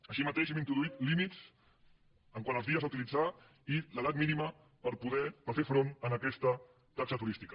així mateix hem introduït límits quant als dies a utilitzar i l’edat mínima per fer front a aquesta taxa turística